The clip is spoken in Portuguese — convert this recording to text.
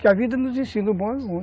Que a vida nos ensina o bom e o ruim.